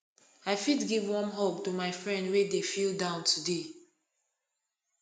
i fit give warm hug to my friend wey dey feel down today